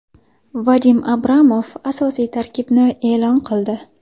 Vadim Abramov asosiy tarkibni e’lon qildi.